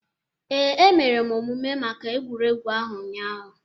Ee, emere m omume maka egwuregwu ahụ ụnyaahụ.